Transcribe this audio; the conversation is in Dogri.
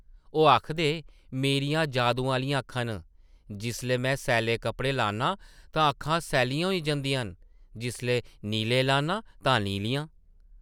ओह् आखदे, ‘‘मेरियां जादू आह्लियां अक्खां न, जिसलै में सैल्ले कप्पड़े लान्नां तां अक्खां सैल्लियां होई जंदियां न, जिसलै नीले लान्नां तां नीलियां ।’’